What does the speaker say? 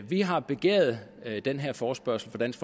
vi har begæret den her forespørgsel fra dansk